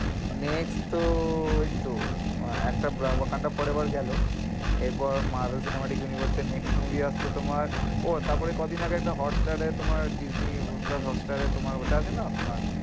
Next তো ওই তো আহ একটা ফরএভার গেলো এর পর মার্গ সিনেমা টেক ইউনিভার্স এর next movie আসছে তোমার ও কদিন আগে একটা hotstar এ disney plus hotstar ওটা আছে না তোমার,